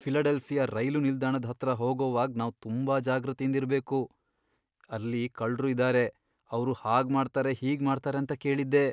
Philadelphia ರೈಲು ನಿಲ್ದಾಣದ್ ಹತ್ರ ಹೋಗೋವಾಗ್ ನಾವ್ ತುಂಬಾ ಜಾಗೃತೆಯಿಂದ್ ಇರ್ಬೇಕು, ಅಲ್ಲಿ ಕಳ್ರು ಇದ್ದಾರೆ ಅವ್ರು ಹಾಗ್ ಮಾಡ್ತಾರೆ ಹೀಗ್ ಮಾಡ್ತಾರೆ ಅಂತ ಕೇಳಿದ್ದೆ.